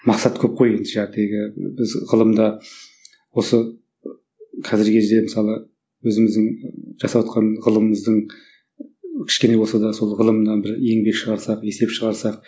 мақсат көп қой енді біз ғылымда осы қазіргі кезде мысалы өзіміздің жасаватқан ғылымымыздың кішкене болса сол ғылымнан бір еңбек шығарсақ есеп шығарсақ